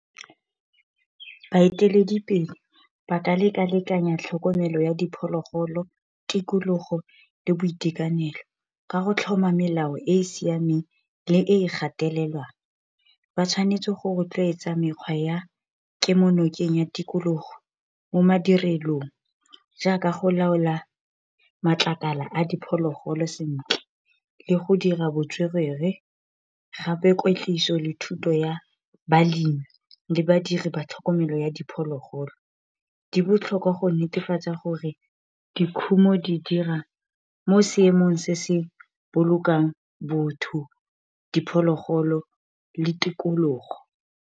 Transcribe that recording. Baeteledipele ba ka lekalekanya tlhokomelo ya diphologolo, tikologo, le boitekanelo. Ka go tlhoma melao e siameng le e gatelelwang. Ba tshwanetse go rotloetsa mekgwa ya kemonokeng ya tikologo mo madirelong. Jaaka go laola matlakala a diphologolo sentle. Le go dira botswerere, gape kwetliso le thuto ya balemi, le badiri ba tlhokomelo ya diphologolo. Di botlhokwa go netefatsa gore dikhumo di dira mo seemong se se bolokang botho, diphologolo le tikologo.